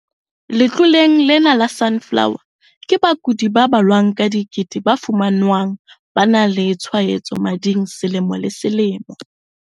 Letloleng lena la Sunflower, ke bakudi ba balwang ka dikete ba fumanwang ba na le tshwaetso mading selemo le selemo.